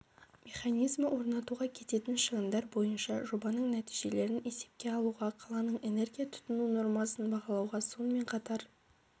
механизмі орнатуға кететін шығындар бойынша жобаның нәтижелерін есепке алуға қаланың энергия тұтыну нормасын бағалауға сонымен қатар